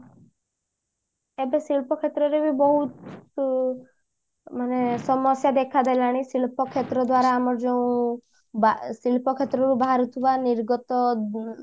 ଏବେ ଶିଳ୍ପ କ୍ଷେତ୍ର ରେ ବି ବଉତ ଉଁ ସମସ୍ଯା ଦେଖାଦେଲାଣି ଶିଳ୍ପ କ୍ଷେତ୍ର ଦ୍ଵାରା ଆମେ ଯେଉଁ ବା ଶିଳ୍ପ କ୍ଷେତ୍ର ରୁ ବାହାରୁଥିବା ନିର୍ଗତ ଉଁ